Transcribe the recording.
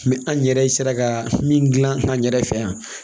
an yɛrɛ sera ka min gilan an yɛrɛ fɛ yan